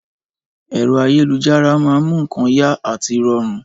Ẹ̀rọ ayélujára a máa mú nǹkan yá àti rọrùn